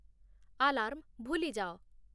alarm ଭୁଲିଯାଅ